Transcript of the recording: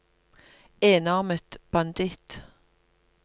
enarmet banditt